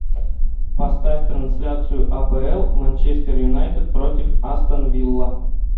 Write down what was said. поставь трансляцию апл манчестер юнайтед против астон вилла